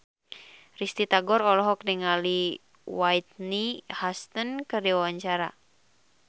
Risty Tagor olohok ningali Whitney Houston keur diwawancara